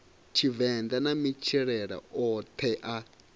tshivenḓa na matshilele oṱhe a